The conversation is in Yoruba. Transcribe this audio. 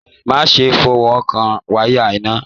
Má ṣe fọwọkàn wayà iná!